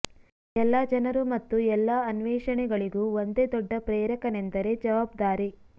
ಎಲ್ಲಾ ಜನರು ಮತ್ತು ಎಲ್ಲಾ ಅನ್ವೇಷಣೆಗಳಿಗೂ ಒಂದೇ ದೊಡ್ಡ ಪ್ರೇರಕನೆಂದರೆ ಜವಾಬ್ದಾರಿ